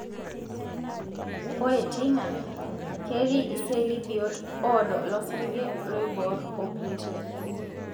ore teina. ketii iseli biot odoo losarg, iloiborr o plateles.